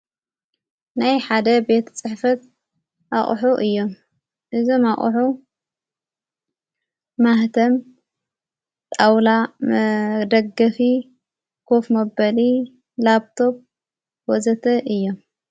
ናይ ሓደ ቤት ጽሕፈት ኣቝሑ እዮ እዞም ኣቕኁ ማህተም ጣውላ ደገፊ ኰፍ ምበሊ ላጵቶብ ወዘተ እየ።